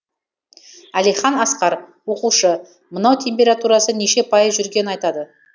әлихан асқар оқушы мынау температурасы неше пайыз жүргенін айтады